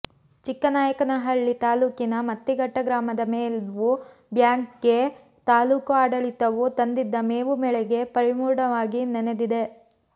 ಚಿಕ್ಕನಾಯಕನಹಳ್ಳಿ ತಾಲ್ಲೂಕಿನ ಮತ್ತಿಘಟ್ಟ ಗ್ರಾಮದ ಮೇವು ಬ್ಯಾಂಕ್ಗೆ ತಾಲ್ಲೂಕು ಆಡಳಿತವು ತಂದಿದ್ದ ಮೇವು ಮಳೆಗೆ ಪೂರ್ಣವಾಗಿ ನೆನೆದಿದೆ